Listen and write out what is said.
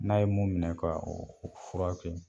N'a ye mun minɛ ka o o fura kɛ